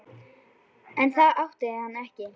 En það átti hann ekki.